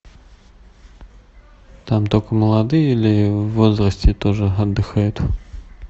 там только молодые или в возрасте тоже отдыхают